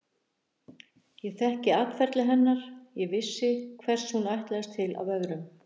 Ég þekkti atferli hennar, ég vissi hvers hún ætlaðist til af öðrum.